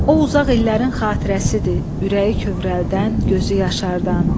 O uzaq illərin xatirəsidir, ürəyi kövrəldən, gözü yaşardan.